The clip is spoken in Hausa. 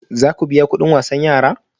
Za ku biya kudin wasan yara?